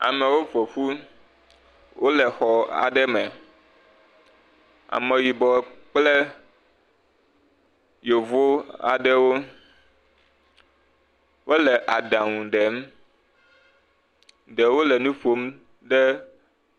Amewo ƒo ƒu, wole xɔ aɖe me. Ameyibɔ kple yevu aɖewo. Wole aɖaŋu ɖem. Ɖewo le nu ƒom.